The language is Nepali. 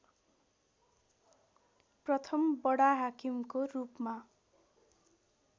प्रथम बडाहाकिमको रूपमा